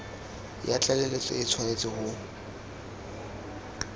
ya tlaleletso e tshwanetse go